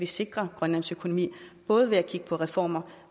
sikre grønlands økonomi både ved at kigge på reformer